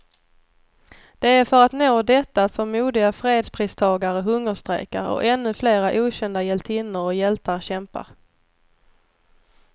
Det är för att nå detta som modiga fredspristagare hungerstrejkar, och ännu flera okända hjältinnor och hjältar kämpar.